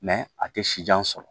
a tɛ si jan sɔrɔ